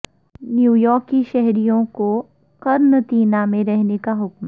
New York کے شہریوں کو قرنطینہ میں رہنے کا حکم